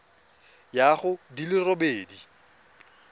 ya go di le robedi